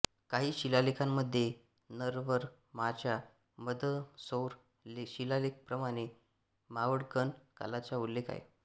काही शिलालेखांमध्ये नरवरमाच्या मंदसौर शिलालेखाप्रमाणे मावळगण कालाचा उल्लेख आहे